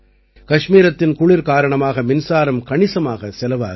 கஷ்மீரத்தின் குளிர் காரணமாக மின்சாரம் கணிசமாகச் செலவாகிறது